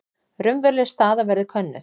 Raunveruleg staða verði könnuð